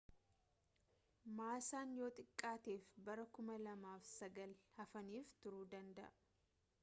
maassaan yoo xiqqaateef bara 2009hafaniif turuu danda'a